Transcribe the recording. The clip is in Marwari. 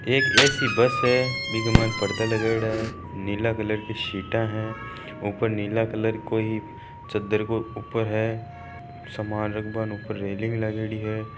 एक ऐ_सी बस है बिक़ा माय पर्दा लागियोडा है नीला कलर की सीटा है ऊपर नीला कलर को कोई चददर को ऊपर है सामान रख बान ऊपर रेलिंग लागियोड़ी है।